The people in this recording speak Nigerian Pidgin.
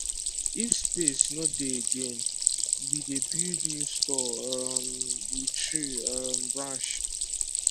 if space no dey again we dey build new store um with tree um branch